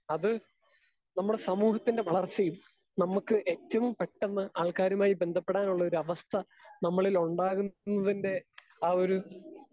speaker 2 അത് നമ്മുടെ സമൂഹത്തിൻ്റെ വളർച്ചയിൽ നമ്മക്ക് ഏറ്റവും പെട്ടെന്ന് ആൾക്കാരുമായി ബന്ധപ്പെടാനുള്ളയൊരു അവസ്ഥ നമ്മളിലൊണ്ടാകുന്നതിൻ്റെ ആ ഒരു